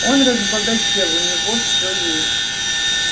он разбогател у него все есть